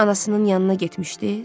Anasının yanına getmişdiz?